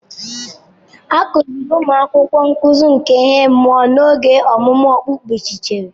A kuziri ụmụ akwụkwọ nkuzi ihe nke mmụọ n'oge ọmụmụ okpukperechi.